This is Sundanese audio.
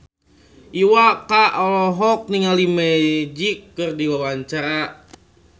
Iwa K olohok ningali Magic keur diwawancara